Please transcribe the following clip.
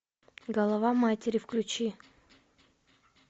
голова матери включи